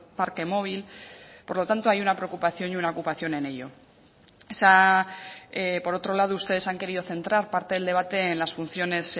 parque móvil por lo tanto hay una preocupación y una ocupación en ello por otro lado ustedes han querido centrar parte del debate en las funciones